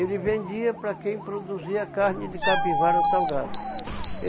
Ele vendia para quem produzia carne de capivara salgada.